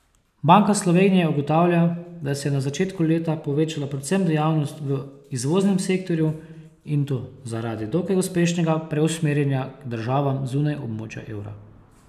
Banka Slovenije ugotavlja, da se je na začetku leta povečala predvsem dejavnost v izvoznem sektorju, in to zaradi dokaj uspešnega preusmerjanja k državam zunaj območja evra.